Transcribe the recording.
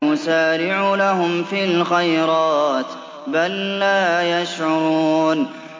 نُسَارِعُ لَهُمْ فِي الْخَيْرَاتِ ۚ بَل لَّا يَشْعُرُونَ